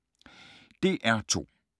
DR2